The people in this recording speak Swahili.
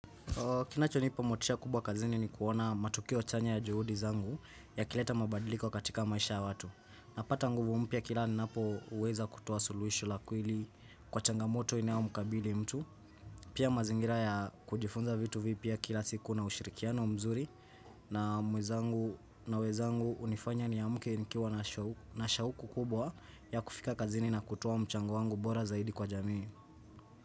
Kinacho nipa motisha kubwa kazini ni kuona matukio chanya ya juhudi zangu ya kileta mabadiliko katika maisha ya watu. Napata nguvu mpya kila ninapo weza kutowa suluhisho lakweli kwa changamoto inayo mkabili mtu. Pia mazingira ya kujifunza vitu vipya kila siku na ushirikiano mzuri na mwenzangu na wenzangu hunifanya niamke nikiwa na shauku kubwa ya kufika kazini na kutowa mchango wangu bora zaidi kwa jamii.